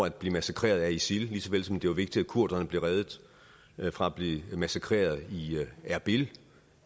at blive massakreret af isil ligeså vel som det var vigtigt at kurderne blev reddet fra at blive massakreret i erbil